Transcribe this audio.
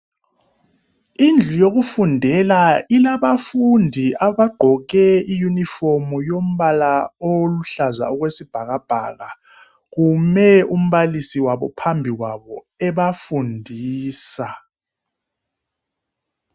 Indlu yokufundela ilabafundi abagqoke i"uniform" yombala oluhlaza okwesibhakabhaka, kume umbalisi wabo phambi kwabo ebafundisa.